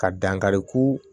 Ka dankari ko